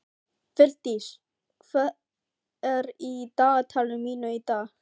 Vildís, hvað er í dagatalinu mínu í dag?